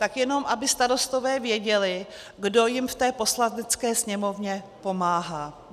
Tak jenom aby starostové věděli, kdo jim v té Poslanecké sněmovně pomáhá.